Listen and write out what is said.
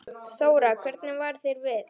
Þóra: Hvernig varð þér við?